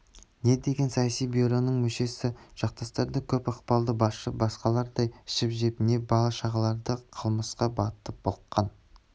не дегенмен саяси бюроның мүшесі жақтастары көп ықпалды басшы басқалардай ішіп-жеп не бала-шағалары қылмысқа батып былыққан